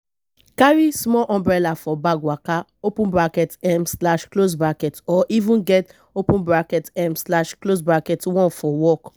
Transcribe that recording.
carry small umbrella for bag waka um or even get um one for work